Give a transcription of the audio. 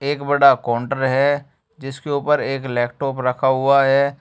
एक बड़ा काउंटर है जिसके ऊपर एक लैपटॉप रखा हुआ है।